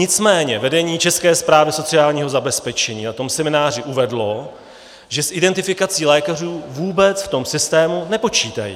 Nicméně vedení České správy sociálního zabezpečení na tom semináři uvedlo, že s identifikací lékařů vůbec v tom systému nepočítají.